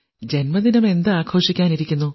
ജന്മദിനം എന്താഘോഷിക്കാനിരിക്കുന്നു